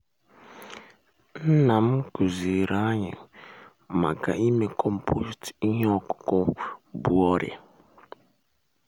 nnam kụziri anyị kụziri anyị maka ime compost ihe ọkụkụ bu ọrịa.